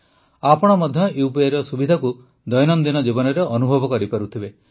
ଆପଣ ମଧ୍ୟ UPIର ସୁବିଧାକୁ ଦୈନନ୍ଦିନ ଜୀବନରେ ଅନୁଭବ କରିପାରୁଥିବେ